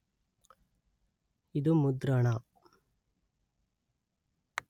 ಇದು ಮುದ್ರಣ